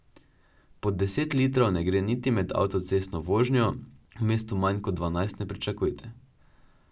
Pod deset litrov ne gre niti med avtocestno vožnjo, v mestu manj kot dvanajst ne pričakujte.